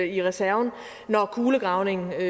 i reserven når kulegravningen